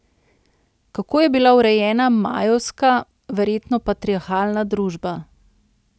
Kako je bila urejena majevska, verjetno patriarhalna družba?